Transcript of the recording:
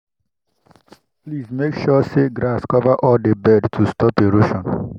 i make sure say grass cover all the bed to stop erosion.